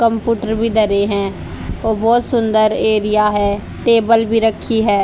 Computer भी धरे हैं और बहुत सुंदर एरिया है टेबल भी रखी है।